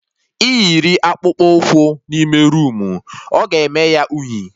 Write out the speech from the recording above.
Ị yiri Akpụkpọ ụkwụ n'ime roomu, oga eme ya unyi